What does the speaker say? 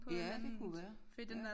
Ja det kunne være